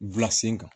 kan